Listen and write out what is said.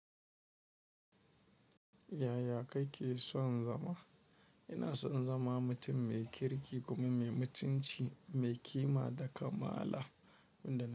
Yaya kake son zama? Ina son zama mutum mai kirki kuma mai mutunci, mai kima da kamala.